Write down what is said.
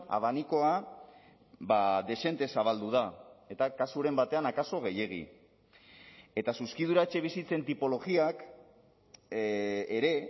abanikoa dezente zabaldu da eta kasuren batean akaso gehiegi eta zuzkidura etxebizitzen tipologiak ere